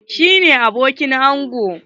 Shi ne abokin ango.